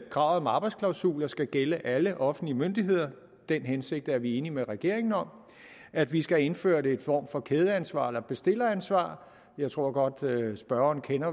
kravet om arbejdsklausuler skal gælde alle offentlige myndigheder og den hensigt er vi enige med regeringen om at vi skal indføre en form for kædeansvar eller bestilleransvar og jeg tror godt spørgeren kender